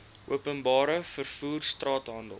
openbare vervoer straathandel